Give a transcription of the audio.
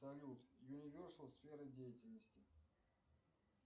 салют юниверсал сфера деятельности